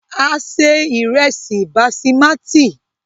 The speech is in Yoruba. A se ìrẹ́sí basimati.